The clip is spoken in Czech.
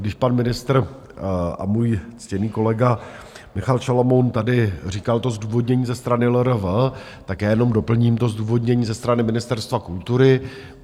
Když pan ministr a můj ctěný kolega Michal Šalomoun tady říkal to zdůvodnění ze strany LRV, tak já jenom doplním to zdůvodnění ze strany Ministerstva kultury.